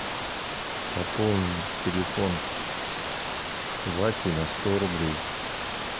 пополнить телефон васи на сто рублей